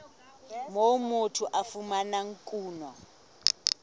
moo motho a fumanang kuno